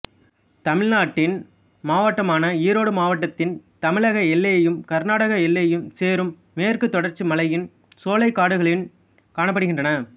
தமிழ்நாட்டின் மாவட்டமான ஈரோடு மாவட்டத்தின் தமிழக எல்லையும் கர்நாடக எல்லையும் சேரும் மேற்குத் தொடர்ச்சி மலையின் சோலைக்காடுகளின் காணப்படுகிறன